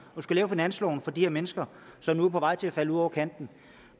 og skulle lave finansloven for de her mennesker som nu er på vej til at falde ud over kanten